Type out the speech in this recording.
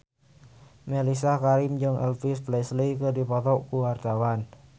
Mellisa Karim jeung Elvis Presley keur dipoto ku wartawan